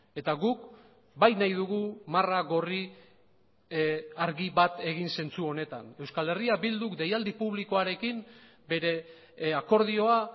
eta guk bai nahi dugu marra gorri argi bat egin zentzu honetan euskal herria bilduk deialdi publikoarekin bere akordioa